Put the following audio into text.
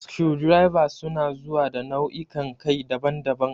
Screwdrivers su na zuwa da nau'ikan kai daban-daban.